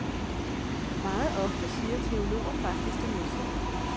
Meget ofte siger teologer faktisk det modsatte.